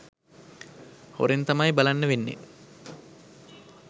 හොරෙන් තමයි බලන්න වෙන්නේ